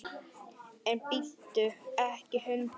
En bíttu ekki, hundur!